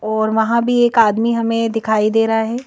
और वहां भी एक आदमी हमें दिखाई दे रहा है।